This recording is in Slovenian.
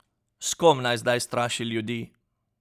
S kom naj zdaj straši ljudi?